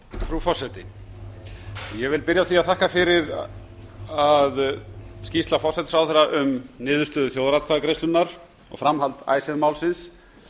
frú forseti ég vil byrja á því að þakka fyrir að skýrsla forsætisráðherra um niðurstöðu þjóðaratkvæðagreiðslunnar og framhald icesave málsins